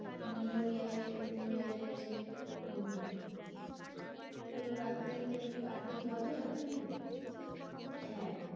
New year new year এর এ হম পুরো রাত্রি ধরে party হবে ওখানে। হ্যাঁ